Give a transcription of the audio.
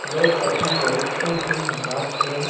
लोग अपनी जरूरतों के हिसाब से --